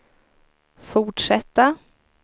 fortsätta